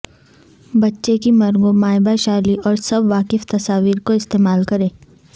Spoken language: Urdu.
بچے کی مرغوب مائباشالی اور سب واقف تصاویر کو استعمال کریں